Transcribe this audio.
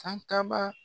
Sankaba